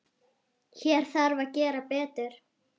Hér þarf að gera betur.